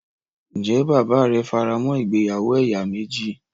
Ǹjẹ́ bàbáà rẹ faramọ́ ìgbéyàwó ẹ̀yà méjì.